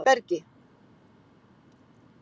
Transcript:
Bergi